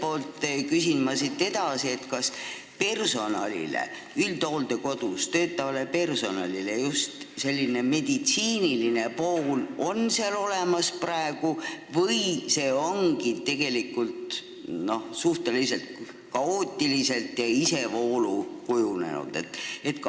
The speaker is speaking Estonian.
Ja küsin siit edasi, kas praegu on üldhooldekodus töötavale personalile olemas ka meditsiiniline pool või see ongi kujunenud suhteliselt kaootiliselt ja isevoolu?